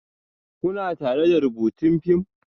Kuna tare da rubutun fim?